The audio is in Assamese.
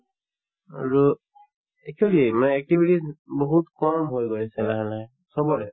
আৰু actually মানে activities বহুত কম হৈ গৈ আছে লাহে লাহে চবৰে